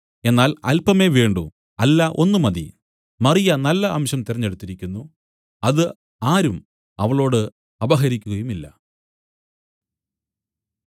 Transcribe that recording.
എന്നാൽ അല്പമേ വേണ്ടൂ അല്ല ഒന്ന് മതി മറിയ നല്ല അംശം തിരഞ്ഞെടുത്തിരിക്കുന്നു അത് ആരും അവളോട് അപഹരിക്കുകയുമില്ല